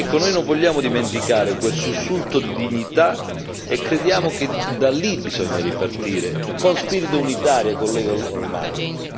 Noi non vogliamo dimenticare quel sussulto di dignità e crediamo che da lì, bisogna ripartire, con spirito unitario, collega Hohlmeier.